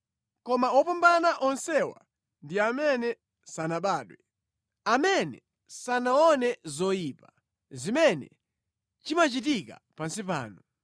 Koma wopambana onsewa ndi amene sanabadwe, amene sanaone zoyipa zimene chimachitika pansi pano.